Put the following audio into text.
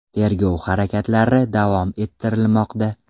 Tergov harakatlari davom ettirilmoqda.